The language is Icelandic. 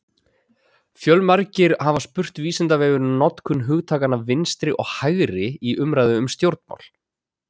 Fjölmargir hafa spurt Vísindavefinn um notkun hugtakanna vinstri og hægri í umræðu um stjórnmál: